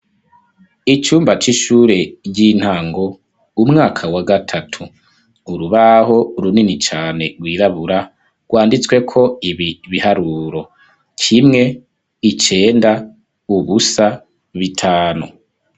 Icumba c'ishure, ry'intango, umwaka wa gatatu; urubaho runini cane, rwirabura, rwanditsweko, ibi biharuro: kimwe, icenda, ubusa, bitanu.